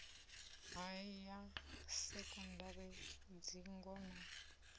ha ya sekondari dzingo na